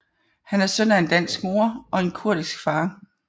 Han er søn af en dansk mor og en kurdisk far